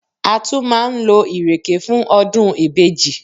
A tún máa ń lo Ìrèké fún ọdún ìbejì